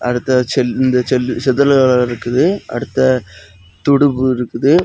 அடுத்த செல் இந்த செல் செதில்லகல இருக்குது அடுத்து துடுப்பு இருக்குது.